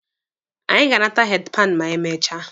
Anyị ga-anata heedi panụ ma anyị mechaa.